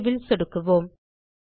save ல் சொடுக்குவோம்